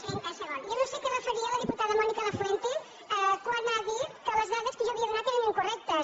jo no sé a què es referia la diputada mònica lafuente quan ha dit que les dades que jo havia donat eren incorrectes